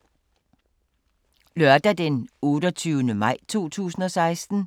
Lørdag d. 28. maj 2016